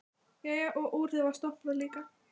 Jæja, og úrið var stoppað líka.